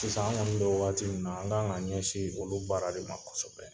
Sisan an kɔni bɛ waati min na an kan ka ɲɛsin olu baara de ma kosɛbɛ.